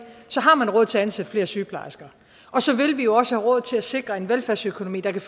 har man råd til at ansætte flere sygeplejersker og så vil vi jo også have råd til at sikre en velfærdsøkonomi der kan